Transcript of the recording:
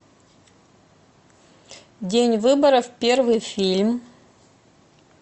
день выборов первый фильм